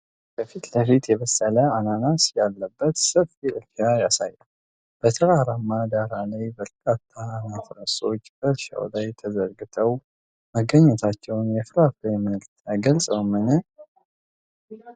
ከፊት ለፊት የበሰለ አናናስ ያለበት ሰፊ እርሻ ያሳያል፤ በተራራማ ዳራ ላይ በርካታ አናናሶች በእርሻው ላይ ተዘርግተው መገኘታቸው የፍራፍሬውን ምርት አይገልጽም?